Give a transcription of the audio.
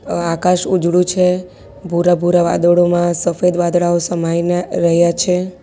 અ આકાશ ઉજળું છે ભુરા ભુરા વાદળોમાં સફેદ વાદળાઓ સમાઈને રહ્યા છે.